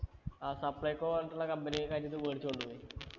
ആ supplyco പോലത്തുള്ള company കാര് ഇത് മേടിച്ചോണ്ട് പോയി